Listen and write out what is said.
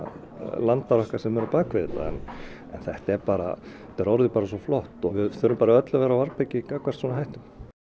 landar okkar sem eru á bak við þetta en þetta er bara orðið svo flott og við þurfum bara öll að vera á varðbergi gagnvart svona hættum